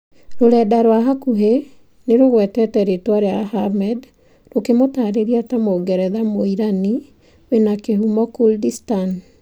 Rũrenda rwa hakuhĩ nĩrũgwetete rĩtwa rĩa Ahmed rũkĩmũtarĩria ta 'Mũngeretha mũirani wĩna kĩhumo Kurdistan.